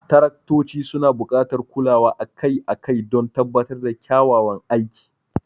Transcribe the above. Taraktoci suna buƙatar kulawa akai-akai don tabbatar da kyakkyawan aiki.